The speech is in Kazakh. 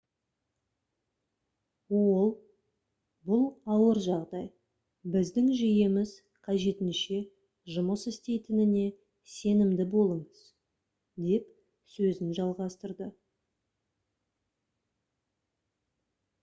ол бұл ауыр жағдай біздің жүйеміз қажетінше жұмыс істейтініне сенімді болыңыз - деп сөзін жалғастырды